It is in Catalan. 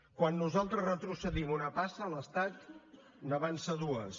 quan nosaltres retrocedim una passa l’estat n’avança dues